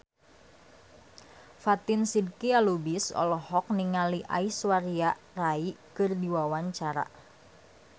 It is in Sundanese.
Fatin Shidqia Lubis olohok ningali Aishwarya Rai keur diwawancara